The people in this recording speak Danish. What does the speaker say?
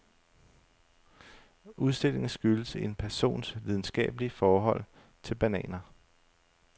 Udstillingen skyldes en persons lidenskabelige forhold til bananer.